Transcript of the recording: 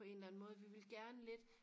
på en eller anden måde vi vil gerne lidt